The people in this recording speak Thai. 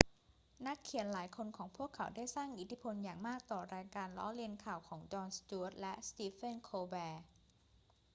นักเขียนหลายคนของพวกเขาได้สร้างอิทธิพลอย่างมากต่อรายการล้อเลียนข่าวของจอน สจ๊วต และสตีเฟน โคลแบร์